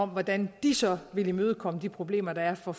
hvordan de så vil imødegå de problemer der er for